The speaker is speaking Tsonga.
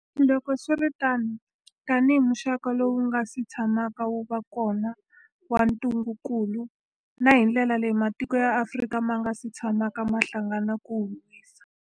Loko swi ri tano, tanihi muxaka lowu wu nga si tshamaka wu va kona wa ntungukulu, na hi ndlela leyi matiko ya Afrika ma nga si tshamaka ma hlangana ku wu lwisa.